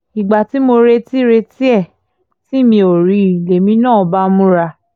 ìgbà tí mo retí retí ẹ̀ tí mi ò rí i lèmi náà bá múra